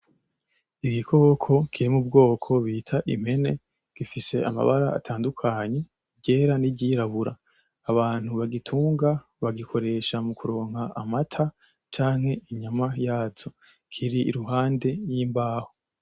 Igikoko kiri m'ubwoko bita impene gifise amabara atandukanye, iryera n'iryirabura abanu bagitunga bagikoresha mu kuronka amata canke inyama yazo. Kiri iruhande y'imbaho.